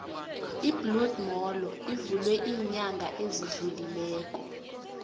ibloed molo ivulwe ilnyanga ezidlulileko